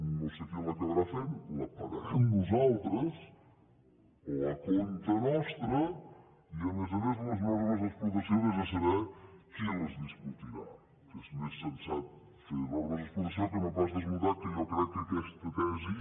no sé qui l’acabarà fent la pagarem nosaltres o a càrrec nostre i a més a més les normes d’explotació vés a saber qui les discutirà que és més sensat fer normes d’explotació que no pas desmuntar que jo crec que aquesta tesi